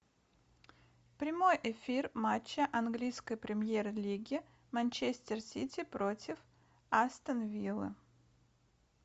прямой эфир матча английской премьер лиги манчестер сити против астон виллы